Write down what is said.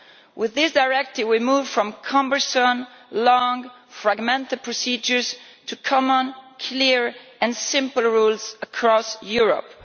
With this directive we move from cumbersome, long, fragmented procedures to common, clear and simple rules across Europe.